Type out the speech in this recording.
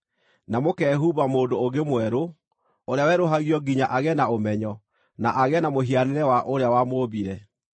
na mũkehumba mũndũ ũngĩ mwerũ, ũrĩa werũhagio nginya agĩe na ũmenyo na agĩe na mũhianĩre wa ũrĩa wamũũmbire.